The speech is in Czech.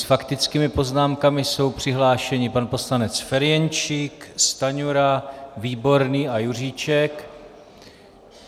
S faktickými poznámkami jsou přihlášeni pan poslanec Ferjenčík, Stanjura, Výborný a Juříček.